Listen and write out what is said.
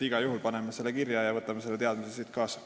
Igal juhul me paneme selle teadmise kirja ja võtame selle siit kaasa.